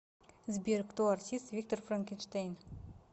сбер кто артист виктор франкенштейн